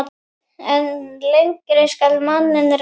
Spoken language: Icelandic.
En lengi skal manninn reyna.